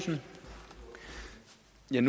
jeg